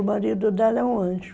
O marido dela é um anjo.